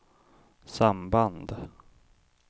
samband